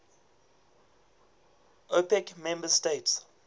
opec member states